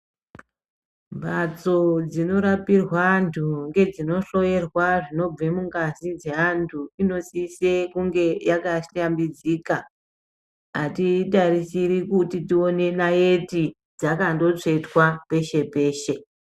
Mbatso dzinorapirwa antu ngedzinohloyerwa zvinobve mungazi dzeantu inosise kunge yakahlambidzika atitarisiri kuti tione dzakandotsvetwa peshe peshe.